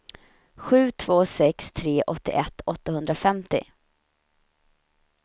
sju två sex tre åttioett åttahundrafemtio